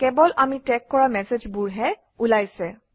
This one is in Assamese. কেৱল আমি টেগ কৰা মেচেজবোৰহে ওলাইছে